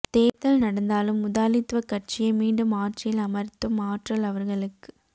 தேர்தல் நடந்தாலும் முதாலித்துவ கட்சியே மீண்டும் ஆட்சியில் அமர்த்தும் ஆற்றல் அவர்களுக்